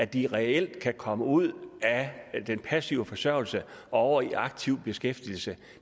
de reelt kan komme ud af den passive forsørgelse og over i aktiv beskæftigelse